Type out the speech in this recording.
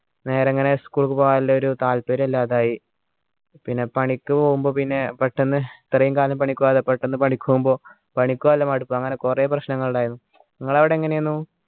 നേരെ ഇങ്ങനെ school ക്കു പോകാം എല്ലാരും താല്പര്യം ഇല്ലാതായ് പിന്നെ പണിക്ക് പോവുമ്പോ പിന്നെ പെട്ടെന്ന് ഇത്രയും കാലം പണിക്ക് പോവാണ്ട് പെട്ടെന്ന് പണിക്ക് പോകുമ്പോ പണിക്കു പോകാനുള്ള മടുപ്പ് അങ്ങനെ കുറെ പ്രശ്നങ്ങൾ ഇണ്ടായിരുന്നു നിങ്ങൾ അവിടെ എങ്ങനെയായിരുന്നു